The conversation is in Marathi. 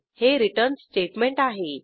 हे रिटर्न स्टेटमेंट आहे